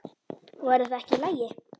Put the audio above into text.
Væri það ekki í lagi?